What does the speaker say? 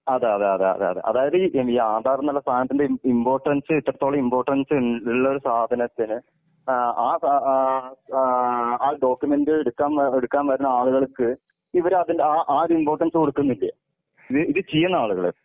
അതെ അതെ അതെ അതെ അതായത് ഈ ആധാർ എന്നുള്ള സാനത്തിന്റ ഇംപോർട്ടൻസ് എത്രത്തോളം ഇംപോർട്ടൻസ് ഉള്ളൊരു സാധനത്തിന് ഏഹ് ആ ആ ഡോക്യുമെന്റ് എടുക്കാൻ എടുക്കാൻ പറ്റിണ ആളുകൾക്ക് ഇവര് അതിന്റെ ആ ആ ഒരു ഇംപോർട്ടൻസ് കൊടുക്കുന്നില്ലേ? ഇത് ചിയണോ ആളുകള്?